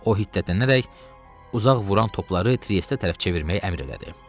O hiddətlənərək uzaq vuran topları Triesdə tərəf çevirməyə əmr elədi.